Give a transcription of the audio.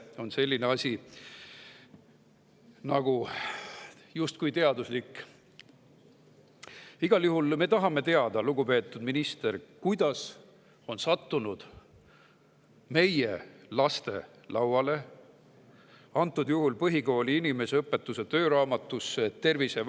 Igal juhul me tahame teada, lugupeetud minister, kuidas on sattunud meie laste lauale, antud juhul põhikooli inimeseõpetuse tööraamatusse.